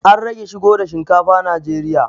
An rage shigo da shinkafa najeriya